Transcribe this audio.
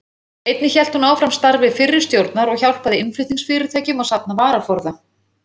Einnig hélt hún áfram starfi fyrri stjórnar og hjálpaði innflutningsfyrirtækjum að safna varaforða.